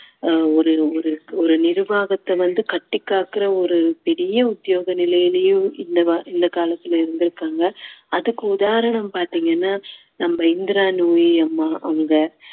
ஆஹ் ஒரு ஒரு ஒரு நிர்வாகத்தை வந்து கட்டிக் காக்குற ஒரு பெரிய உத்தியோக நிலையிலையும் இந்த இந்த காலத்துல இருந்திருக்காங்க அதுக்கு உதாரணம் பார்த்தீங்கன்னா நம்ம இந்திரா நூயி அம்மா அவங்க